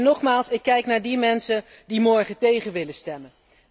Nogmaals, ik kijk naar die mensen die morgen tegen willen stemmen.